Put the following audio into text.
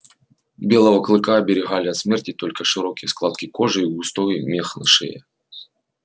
белого клыка оберегали от смерти только широкие складки кожи и густой мех на шее